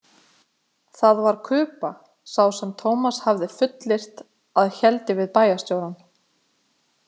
Það var Kuba sá sem Tómas hafði fullyrt að héldi við bæjarstjórann.